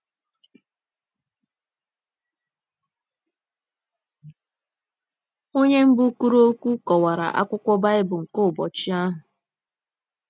Onye mbụ kwuru okwu kọwara akwụkwọ Baịbụl nke ụbọchị ahụ.